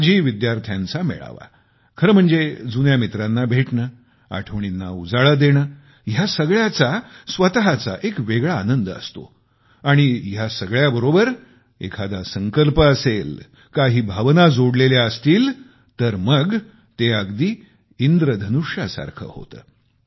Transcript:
माजी विद्यार्थ्यांचा मेळावा खरं म्हणजे जुन्या मित्रांना भेटणे आठवणींना उजाळा देणे या सगळ्याचा स्वतःचा एक वेगळा आनंद असतो आणि या सगळ्या सोबत काही खास सामायिक उद्देश असेल एखादा संकल्प असेल काही भावना जोडलेल्या असतील मग तर ते अगदी इंद्रधनुष्यासारखे होते